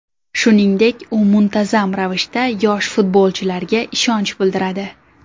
Shuningdek, u muntazam ravishda yosh futbolchilarga ishonch bildiradi.